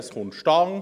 das kommt zustande.